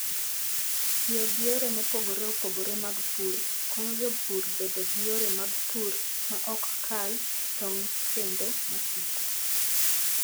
Tiyo gi yore mopogore opogore mag pur konyo jopur bedo gi yore mag pur ma ok kal tong' kendo masiko.